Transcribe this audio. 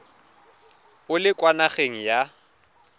o le kwa nageng ya